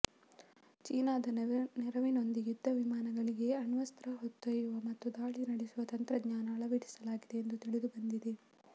ಚೀನಾದ ನೆರವಿನೊಂದಿಗೆ ಯುದ್ಧ ವಿಮಾನಗಳಿಗೆ ಅಣ್ವಸ್ತ್ರ ಹೊತ್ತೊಯ್ಯುವ ಮತ್ತು ದಾಳಿ ನಡೆಸುವ ತಂತ್ರಜ್ಞಾನ ಅಳವಡಿಸಲಾಗಿದೆ ಎಂದು ತಿಳಿದುಬಂದಿದೆ